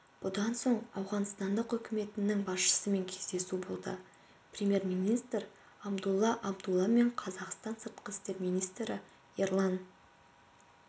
бұдан соң ауғанстан үкіметінің басшысымен кездесу болды премьер-министр абдулла абдулла мен қазақстан сыртқы істер министрі ерлан